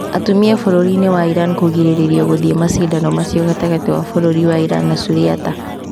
Atumia bũrũri wa Iran kũgirĩrĩrio gũthiĩ macindano macio gatagatĩ ka bũrũri wa Iran na Suriata